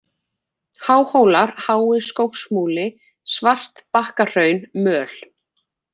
Háhólar, Hái-Skógsmúli, Svartbakkahraun, Möl